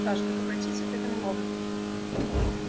даже как обратиться к этому роботу